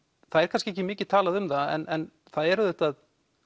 það er kannski ekki mikið talað um það en það er auðvitað